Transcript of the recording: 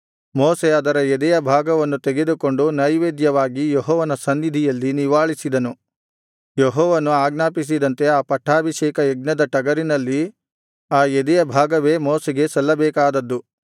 ಮೋಶೆ ಅದರ ಎದೆಯ ಭಾಗವನ್ನು ತೆಗೆದುಕೊಂಡು ನೈವೇದ್ಯವಾಗಿ ಯೆಹೋವನ ಸನ್ನಿಧಿಯಲ್ಲಿ ನಿವಾಳಿಸಿದನು ಯೆಹೋವನು ಆಜ್ಞಾಪಿಸಿದಂತೆ ಆ ಪಟ್ಟಾಭಿಷೇಕಯಜ್ಞದ ಟಗರಿನಲ್ಲಿ ಆ ಎದೆಯ ಭಾಗವೇ ಮೋಶೆಗೆ ಸಲ್ಲಬೇಕಾದದ್ದು